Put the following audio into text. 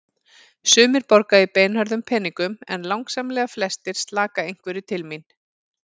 Sumir borga í beinhörðum peningum en langsamlega flestir slaka einhverju til mín.